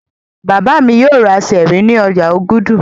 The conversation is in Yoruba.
Bàbá mi yóò ra Sẹ́ẹ́rì ní ọjà Ògùdù.